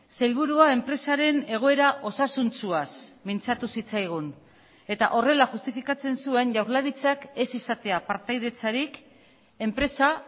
sailburua enpresaren egoera osasuntsuaz mintzatu zitzaigun eta horrela justifikatzen zuen jaurlaritzak ez izatea partaidetzarik enpresa